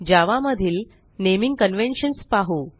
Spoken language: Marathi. जावा मधील नेमिंग कन्व्हेन्शन्स पाहू